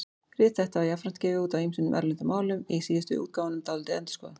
Rit þetta var jafnframt gefið út á ýmsum erlendum málum, í síðustu útgáfunum dálítið endurskoðað.